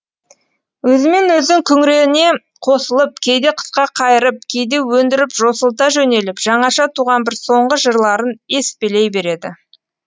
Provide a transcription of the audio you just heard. өзімен өзі күңірене қосылып кейде қысқа қайырып кейде өндіріп жосылта жөнеліп жаңаша туған бір соңғы жырларын еспелей береді